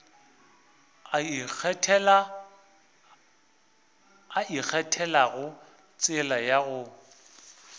a ikgethelago tsela ya gagwe